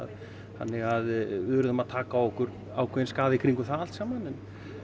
þannig að við urðum að taka á okkur ákveðinn skaða í kringum það allt saman